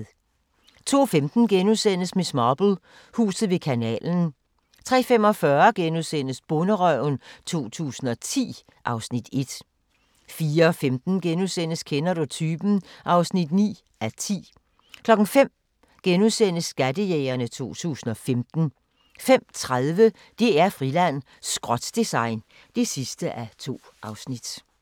02:15: Miss Marple: Huset ved kanalen * 03:45: Bonderøven 2010 (Afs. 1)* 04:15: Kender du typen? (9:10)* 05:00: Skattejægerne 2015 * 05:30: DR-Friland: Skrot-design (2:2)